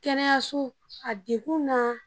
Kɛnɛyaso a dekun n'a